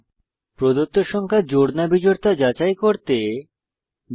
প্রদত্ত সংখ্যা জোড় না বিজোড় তা যাচাই করতে জাভা প্রোগ্রাম লিখুন